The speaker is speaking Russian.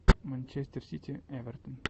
манчестер сити эвертон